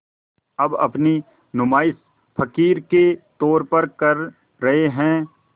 अब अपनी नुमाइश फ़क़ीर के तौर पर कर रहे हैं